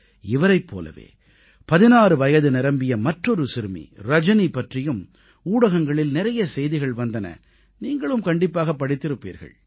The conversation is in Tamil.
இவரைப் போலவே 16 வயது நிரம்பிய மற்றொரு சிறுமி ரஜனி பற்றியும் ஊடகங்களில் நிறைய செய்திகள் வந்தன நீங்களும் கண்டிப்பாக படித்திருப்பீர்கள்